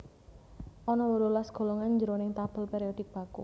Ana wolulas golongan jroning tabel périodik baku